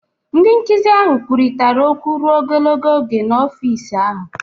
Ndị nkụzi ahụ kwurịtara okwu ruo ogologo oge n'ọfịs ahụ.